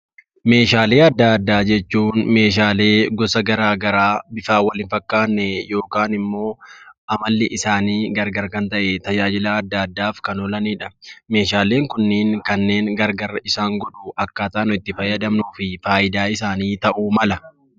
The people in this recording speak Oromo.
Meeshaalee adda addaa jechuun meeshaalee gosa garaagaraa bifaan wal hin fakkaanne yookaan immoo amalli isaanii gargar kan ta'e tajaajila adda addaaf kan oolanidha. Meeshaaleen kunniin kan gargar isaan godhu akkaataa nuyi itti fayyadamnuu fi fayidaa isaanii ta'uu mala.